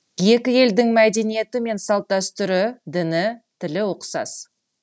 екі елдің мәдениеті мен салт дәстүрі діні тілі ұқсас